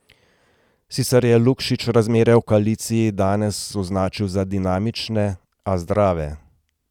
Sicer je Lukšič razmere v koaliciji danes označil za dinamične, a zdrave.